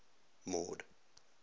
mord